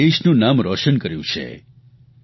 આપે દેશનું નામ રોશન કર્યું છે